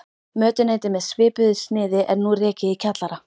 Mötuneyti með svipuðu sniði er nú rekið í kjallara